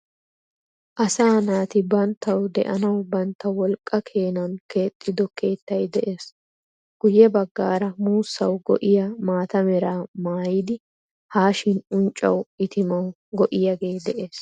Asaa naati banttawu de"anawu bantta wolqqaa keenani keexxido keettayi de"ees. Guuye bagaara muusawu go"iyaa maata meera mayidi haashsin uncawu itimawu go"iyaagetee de"ees.